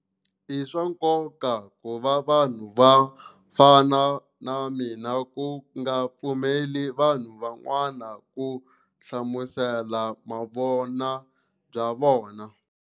I swa nkoka ku va vanhu vo fana na mina ku nga pfumeleli vanhu van'wana ku hlamusela vuvona bya vona.